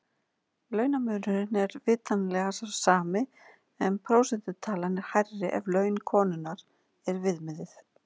Launamunurinn er vitanlega sá sami en prósentutalan er hærri ef laun konunnar er viðmiðið.